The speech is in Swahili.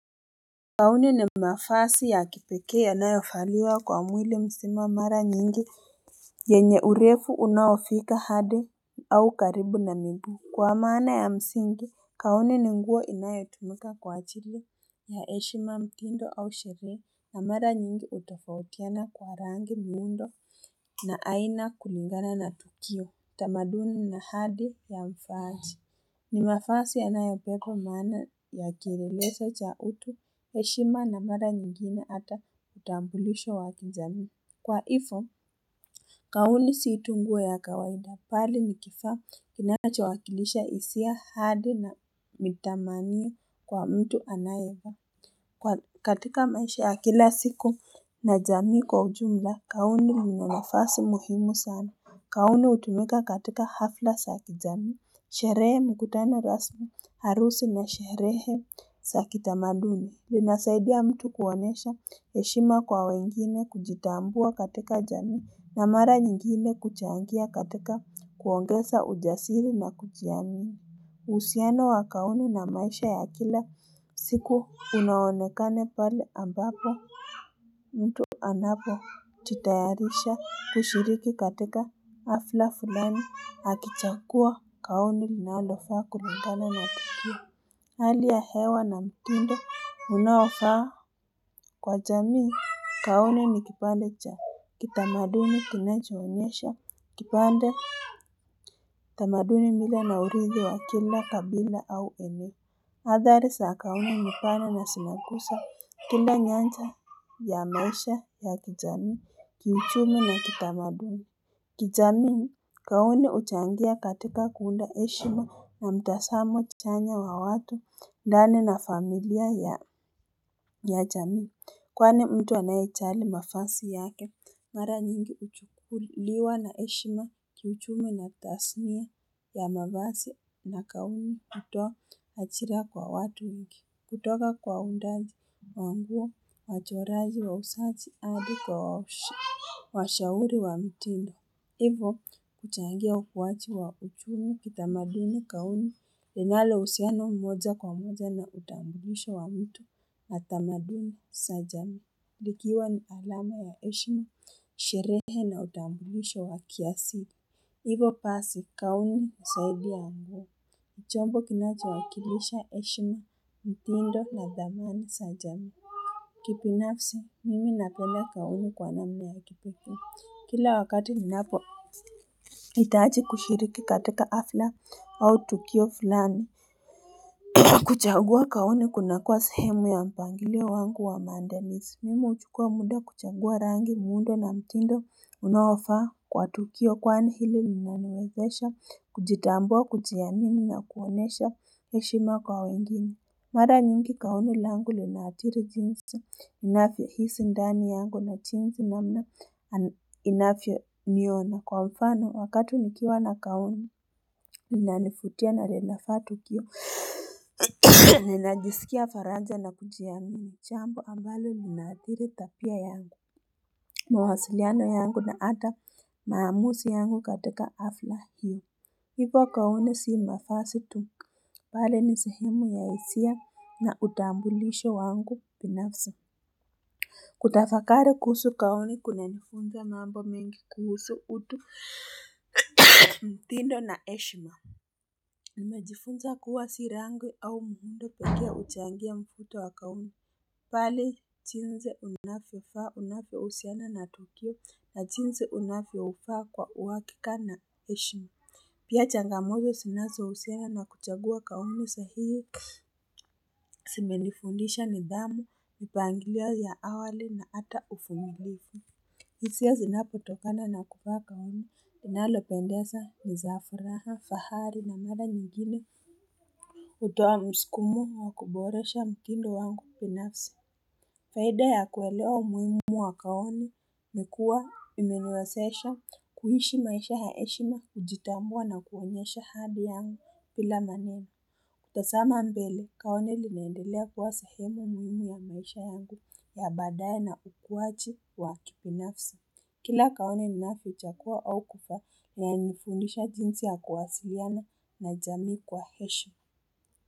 Gauni ni mafasi ya kipekee yanayofaliwa kwa mwili msima mara nyingi yenye urefu unaofika hadi au karibu na miguu Kwa maana ya msingi gauni ni nguo inayotumika kwa achili ya heshima mtindo au sheria na mara nyingi hutofautiana kwa rangi muundo na aina kulingana na tukio tamaduni na hadi ya mfaachi ni mafasi yanayobeba maana ya kielelezo cha utu, heshima na mara nyingine ata utambulisho wa kijamii. Kwa hifo, gauni si tu nguo ya kawaida bali ni kifaa kinachowakilisha hisia hadi na mitamaniyo kwa mtu anayevaa katika maisha ya kila siku na jamii kwa ujumla, gauni ina nafasi muhimu sana. Gauni hutumika katika hafla sa kijamii Sherehe mikutano rasmi harusi na sherehe sa kitamaduni linasaidia ya mtu kuonyesha heshima kwa wengine kujitambua katika jamii na mara nyingine kuchangia katika kuongesa ujasiri na kujiamini uhusiano wa gauni na maisha ya kila siku unaonekane pale ambapo mtu anapojitayarisha kushiriki katika hafla fulani akichagua gauni linalofaa kulingana na tukio Hali ya hewa na mtindo unaofaa kwa jamii gauni ni kipande cha kitamaduni kinachoonyesha kipande tamaduni mila na uridhi wa kila kabila au eneo Athari sa gauni ni bana na sinagusa Kila nyanja ya maisha ya kijamii Kiuchumi na kitamaduni kijamii gauni huchangia katika kuunda heshima na mtasamo chanya wa watu ndani na familia ya jamii kwani mtu anayechali mafasi yake Mara nyingi huchukuliwa na heshima kiuchumi na tasinia ya mavasi na gauni kutoa achira kwa watu wengi kutoka kwa undazi wa nguo wachorazi wausajii hadi kwa washauri wa mitindo hivo kuchangia ukuachi wa uchumi kitamaduni gauni linalo uhusiano moja kwa moja na utambulisho wa mtu na tamadini sa jamii. Likiwa ni alama ya heshima, sherehe na utambulisho wa kiasili. Hivo pasi gauni husaidia chombo kinachowakilisha heshima mtindo na dhamani sa jamii. Kibinafsi, mimi napenda gauni kwa namna ya kipekee Kila wakati ninapohitaji kushiriki katika hafla au tukio fulani. Kuchagua gauni kunakuwa sehemu ya mpangilio wangu wa maandalizi Mimi huchukua mda kuchagua rangi muundo na mtindo unaofaa kwa tukio kwani hili linaniwezesha kujitambua kujiamini na kuonesha heshima kwa wengine. Mara nyingi gauni langu linaathiri jinsi, ninavyohisi ndani yangu na jinsi namna inafyoniona. Kwa mfano, wakati nikiwa na gauni, inanifutia na linafa tukio, ninajisikia faraja na kujiamini jambo ambalo linaathiri tapia yangu. Mawasiliano yangu na hata maamusi yangu katika hafla hiyo. Hivo gauni si mafasi tu bali ni sehemu ya hisia na utambulisho wangu binafsi. Kutafakari kuhusu gauni kunanifunza mambo mingi kuhusu utu mtindo na heshima. Nimejifunza kuwa si rangi au mtindo pekee huchangia mfuto wa gauni pale jinsi unafyofaa unafyohusiana na tukio na jinsi unafyofaa kwa uhakika na heshima. Pia changamoto sinazohusiana na kuchagua gauni sahii zimenifundisha nidhamu, nmipangilio ya awali na hata ufumilifu hisia zinapotokana na kuvaa gauni, inalopendeza, ni za furaha, fahari na mara nyingine hutoa msukumo wa kuboresha mtindo wangu binafsi Faida ya kuelewa umuhimu wa gaunii ni kuwa imeniwesesha kuishi maisha ya heshima kujitambua na kuonyesha hali yangu nbila maneno Kutasama mbele gauni linaendelea kuwa sehemu muhimu ya maisha yangu ya baadaye na ukuwaji wa kibinafsi Kila gauni ninavyochagua au kufaa linanifundisha jinsi ya kuwasiliana na jamii kwa heshima.